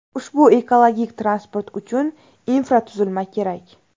Ushbu ekologik transport uchun infratuzilma kerak.